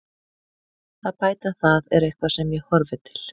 Að bæta það er eitthvað sem ég horfi til.